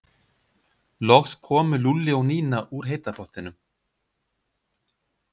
Loks komu Lúlli og Nína úr heita pottinum.